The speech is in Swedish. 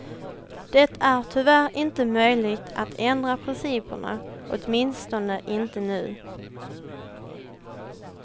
Det är tyvärr inte möjligt att ändra principerna, åtminstone inte nu.